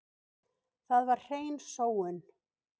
Það var hrein sóun.